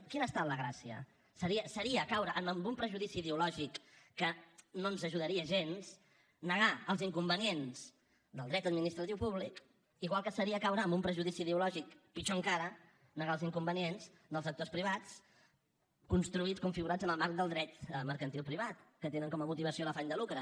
quina ha estat la gràcia seria caure en un prejudici ideològic que no ens ajudaria gens negar els inconvenients del dret administratiu públic igual que seria caure en un prejudici ideològic pitjor encara negar els inconvenients dels actors privats construïts configurats en el marc del dret mercantil privat que tenen com a motivació l’afany de lucre